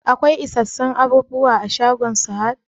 Akwai isasshen abubuwa a shagon Sahad?